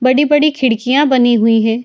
बड़ी-बड़ी खिड़कियाँ बनी हुई है।